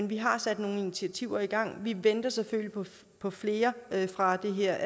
vi har sat nogle initiativer i gang vi venter selvfølgelig på flere fra det her